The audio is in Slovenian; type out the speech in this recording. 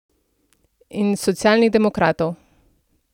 In socialnih demokratov.